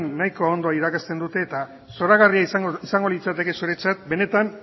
nahiko ondo irakasten dute eta zoragarria izango litzateke zuretzat benetan